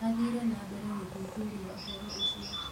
Mathire nambere gũthuthuria ũhoro ũcio